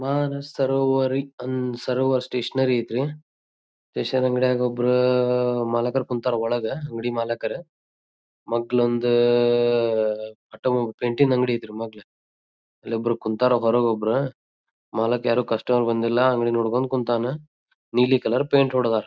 ಮಾನಸ್ ಸರೋವರೀ ಅನ್ನ ಸರೋವರಿ ಸ್ಟೇಷನರಿ ಆಯ್ತ್ ರೀ ಸ್ಟೇಷನ್ ಅಂಗಡಗ್ ಒಬ್ರ ಅಹ್ ಮಾಲಿಕ್ರು ಕುಂತರ್ ಒಳಗ್ ಅಂಗಡಿ ಮಾಲಿಕ್ರ್ ಮಗ್ಗಲೊಂದ ಅಹ್ ಅಟಮೊ ಪೇಂಟಿಂಗ್ ಅಂಗಡಿ ಐತ್ರಿ ಮೊಗ್ಲ ಅಲ್ಲೊಬ್ರು ಕುಂತರ್ ಹೊರಗ್ ಒಬ್ರು ಮಾಲಕ್ ಯಾರು ಕಸ್ಟಮರ್ ಬಂದಿಲ್ಲಾ ಅಂಗಡಿ ನೋಡಕೊಂಡ್ ಕುಂತ್ತನ್ ನೀಲಿ ಕಲರ್ ಪೈಂಟ್ ಹೊಡದರ್.